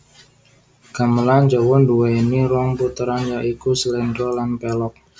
Gamelan Jawa duwéni rong puteran ya iku sléndra lan pélog